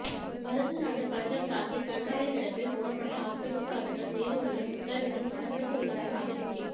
வருசநாடு பஞ்சம்தாங்கி கண்மாயில் கிடப்பில் போடப்பட்ட ஆக்கிரமிப்பு அகற்றம் நீதிமன்றம் உத்தரவிட்டும் நடவடிக்கை இல்லாததால் அதிருப்தி